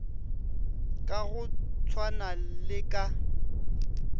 ka go tshwana le ka